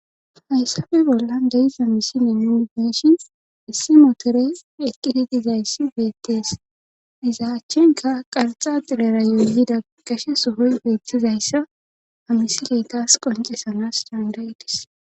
Hayssafe bollan deiza misine nuni deshin issi motore eqqititizayssi beettees iza achchenka qarxa xilera yoyyida gashe sohoy beettizayssa amisileytas qoncesanas dandayidis.